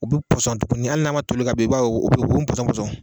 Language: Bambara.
U bɛ pɔsɔn tuguni hali n'a ma toli i b'a ye a bɛ pɔsɔnpɔsɔn